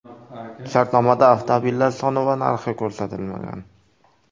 Shartnomada avtomobillar soni va narxi ko‘rsatilmagan.